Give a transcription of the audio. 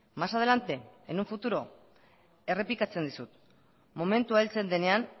más adelante en un futuro errepikatzen dizut momentua heltzen denean